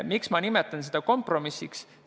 Miks ma nimetan seda kompromissiks?